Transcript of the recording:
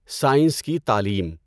science کی تعلیم